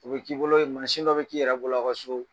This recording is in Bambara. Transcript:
O bɛ k'i bolo masin dɔ bɛ k'i yɛrɛ bolo aw ka so